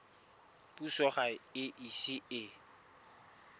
puso ga e ise e